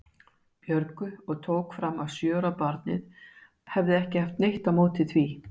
Björgu og tók fram að sjö ára barnið hefði ekki haft neitt á móti því.